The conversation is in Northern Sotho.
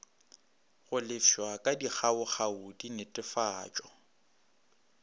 go lefšwa ka dikgaokgao dinetefatšo